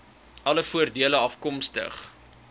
alle voordele afkomstig